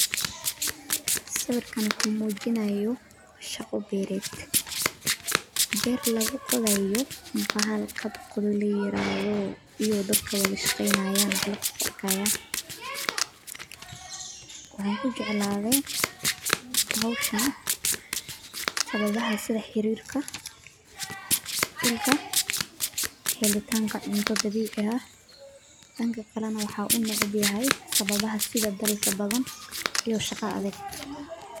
Sawiirkaan wuxuu mujinaaya shaqo beerd beer lagu oqdaayo bahal qodqod ladahaayo, waxaan kujeclaate howshan helitaanka cunto dabiici ah, waxaan unecbahay shaqo adeeg.